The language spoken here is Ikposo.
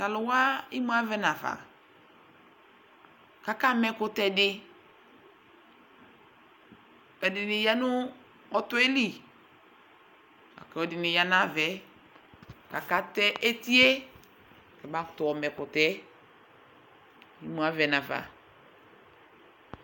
t'alò wa imu avɛ nafa k'aka ma ɛkutɛ di ɛdini ya no ɔtɔ yɛ li la kò edini ya n'ava yɛ k'aka tɛ eti yɛ kaba kutò ɔma ɛkutɛ yɛ imu avɛ nafa